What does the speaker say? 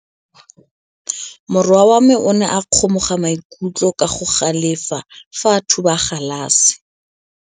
Morwa wa me o ne a kgomoga maikutlo ka go galefa fa a thuba galase.